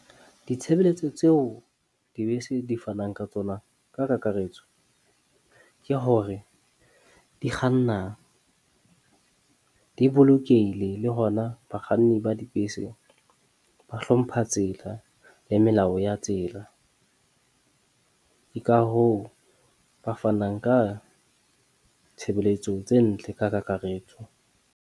Ditshebeletso tseo dibese di fanang ka tsona ka kakaretso ke hore di kganna di bolokehile le hona bakganni ba dibese ba hlompha tsela le melao ya tsela. Ke ka hoo ba fanang ka tshebeletso tse ntle ka kakaretso.